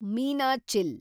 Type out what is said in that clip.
Meenachil